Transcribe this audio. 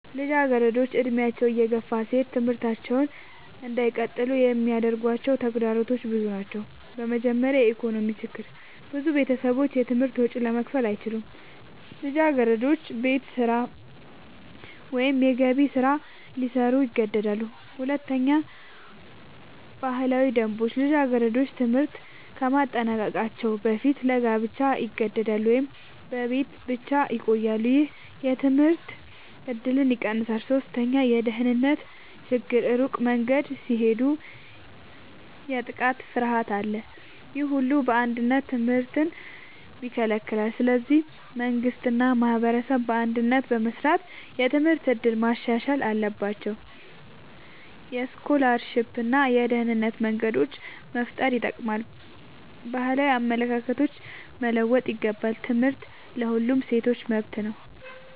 ልጃገረዶች ዕድሜያቸው እየገፋ ሲሄድ ትምህርታቸውን እንዳይቀጥሉ የሚያጋጥሟቸው ተግዳሮቶች ብዙ ናቸው። በመጀመሪያ የኢኮኖሚ ችግር ብዙ ቤተሰቦች የትምህርት ወጪ ለመክፈል አይችሉም። ልጃገረዶች ቤት ስራ ወይም የገቢ ስራ ሊሰሩ ይገደዳሉ። ሁለተኛ ባህላዊ ደንቦች ልጃገረዶች ትምህርት ከማጠናቀቅ በፊት ለጋብቻ ይገደዳሉ ወይም በቤት ብቻ ይቆያሉ። ይህ የትምህርት እድልን ይቀንሳል። ሶስተኛ የደህንነት ችግር ሩቅ መንገድ ሲሄዱ የጥቃት ፍርሃት አለ። ይህ ሁሉ በአንድነት ትምህርትን ይከለክላል። ስለዚህ መንግሥት እና ማህበረሰብ በአንድነት በመስራት የትምህርት እድል ማሻሻል አለባቸው። የስኮላርሺፕ እና የደህንነት መንገዶች መፍጠር ይጠቅማል። ባህላዊ አመለካከቶች መለወጥ ይገባል። ትምህርት ለሁሉም ሴቶች መብት ነው።